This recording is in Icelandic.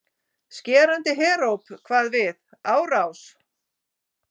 Skerandi heróp kvað við: ÁRÁS